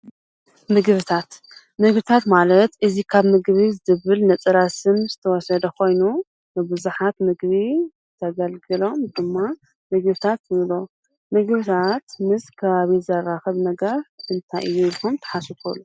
ምግብታት: ምግብታት ማለት እዚ ካብ ምግብ ዝብል ነፀላ ስም ዝተወሰደ ኮይኑ ንብዝሓት ምግቢ ዘግልግሎም ድማ ምግብታት ንብሎም ምግብታት ምስ ከባቢ ዘራክብ ነገር እንታይ እዩ ኢልኩም ተሓስቡ ትክእሉ ?